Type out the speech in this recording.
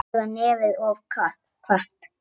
Eða nefið of hvasst.